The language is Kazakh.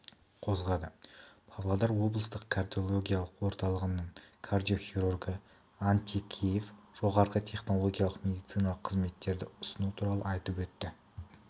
қозғады павлодар облыстық кардиологиялық орталығының кардиохирургы антикеев жоғары технологиялық медициналық қызметтерді ұсыну туралы айтып өтті